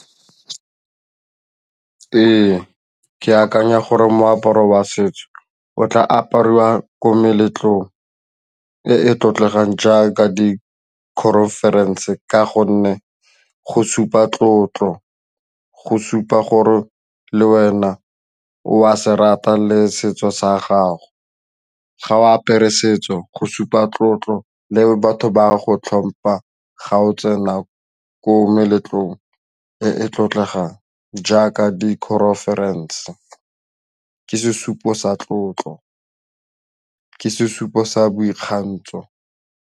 Ee, ke akanya gore moaparo wa setso o tla apariwa ko meletlong e e tlotlegang jaaka di-conference ka gonne go supa tlotlo go supa gore le wena o a se rata le setso sa gago, ga o apere setso go supa tlotlo le batho ba go tlhompha ga o tsena ko meletlong e e tlotlegang jaaka di-conference ke sesupo sa tlotlo ke sesupo sa boikgantso.